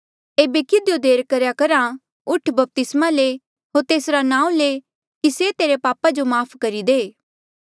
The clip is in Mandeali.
एेबे किधियो देर करेया करहा उठ बपतिस्मा ले होर तेसरा नांऊँ ले की से तेरे पापा जो माफ़ करी दे